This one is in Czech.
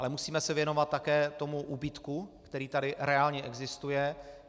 Ale musíme se věnovat také tomu úbytku, který tady reálně existuje.